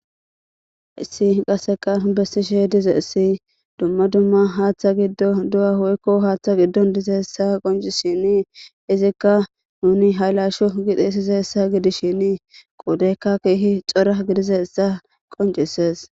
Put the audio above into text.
Issi qasseka bessishe dize essi dumma dumma haaththa giddodu'a hoykko haaththa giddon dize essa qonci shini izikka nuni haylasho gidhi sizeessa gidishini quudeykka keehi xora gidize essa qoncisees.